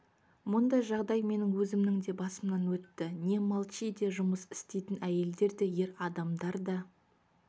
мұндай жағдай менің өзімнің де басымнан өтті не молчиде жұмыс істейтін әйелдер де ер адамдар да